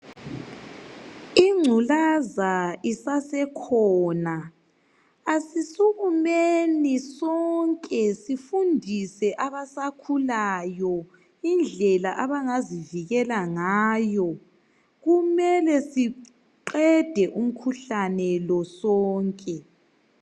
Ingculaza isasekhona asisukumeni sonke sifundise abasakhulayo indlela abangazivikela ngayo. Kumele siqede umkhuhlane lo sonke.